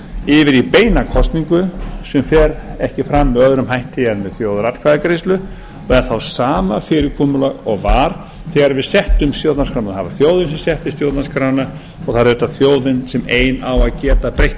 í beina kosningu sem fer ekki fram með öðrum hætti en þjóðaratkvæðagreiðslu og er þá sama fyrirkomulag og var þegar við settum stjórnarskrána það var þjóðin sem setti stjórnarskrána og það er auðvitað þjóðin sem ein á að geta breytt